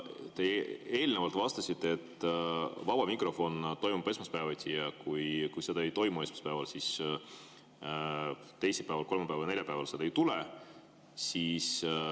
Te eelnevalt vastasite, et vaba mikrofon toimub esmaspäeviti ja kui seda esmaspäeval ei toimu, siis teisipäeval, kolmapäeval ja neljapäeval seda ei tule.